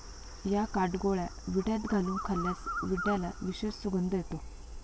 या काटगोळ्या विड्यात घालून खाल्ल्यास विद्याला विशेष सुगंध येतो.